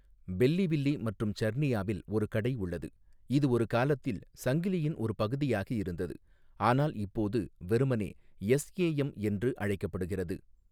Belleville மற்றும் சர்னியாவில் ஒரு கடை உள்ளது, இது ஒரு காலத்தில் சங்கிலியின் ஒரு பகுதியாக இருந்தது, ஆனால் இப்போது வெறுமனே 'எஸ்ஏஎம்' என்று அழைக்கப்படுகிறது.